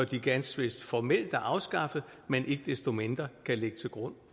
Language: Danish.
de ganske vist formelt er afskaffet ikke desto mindre kan ligge til grund